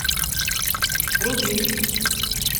рубин